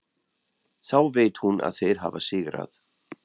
Þá veit hún að þeir hafa sigrað.